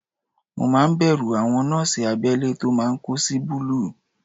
Mo máa ń bẹ̀rù àwọn nọ́ọ̀sì abẹ́lé tó máa ń kó sí búlúù